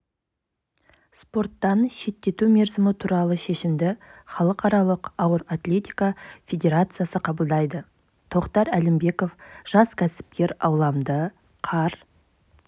спорттан шеттету мерзімі туралы шешімді халықаралық ауыр атлетика федерациясы қабылдайды тоқтар әлімбеков жас кәсіпкер ауламды қар